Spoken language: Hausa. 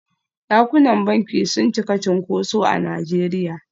Dakunan banki sun cika cunkuso a Najeriya.